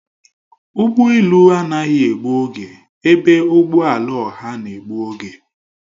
Ụgbọ elu anaghị egbu oge ebe ụgbọ ala ọha na-egbu oge